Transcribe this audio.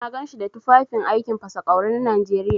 Na ganshi da tufafin aikin fasa ƙwawri na Najeriya.